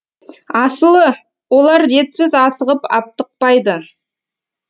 асылы олар ретсіз асығып аптықпайды